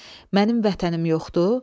Mənim vətənim yoxdur?